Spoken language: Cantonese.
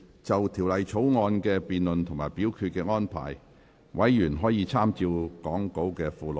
就條例草案的辯論及表決安排，委員可參閱講稿附錄。